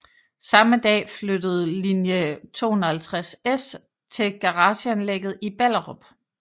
Samme dag flyttede linje 250S til garageanlægget i Ballerup